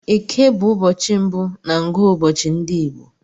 Eke bụ ụbọchị mbụ na ngụụbọchi ndị Igbo.